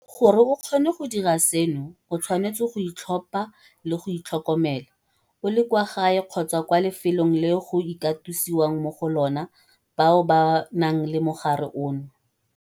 Gore o kgone go dira seno, o tshwanetse go itlhopha le go itlhokomela - o le kwa gae kgotsa kwa lefelong leo go katosiwang mo go lona bao ba nang le mogare ono.